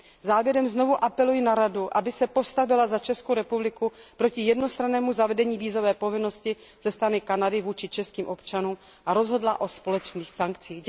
Závěrem znovu apeluji na Radu, aby se postavila za Českou republiku proti jednostrannému zavedení vízové povinnosti ze strany Kanady vůči českým občanům, a rozhodla o společných sankcích.